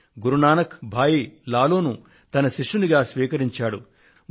భాయి లాలో ను గురు నానక్ దేవ్ తన శిష్యుడిగా స్వీకరించాడు